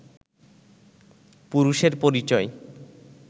পুরুষের পরিচয়